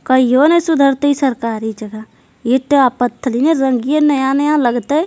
कहियो ना सुधरतई सरकारी जगह ईटा पथल पत्थर ई रंगीन नया नया लगतइ।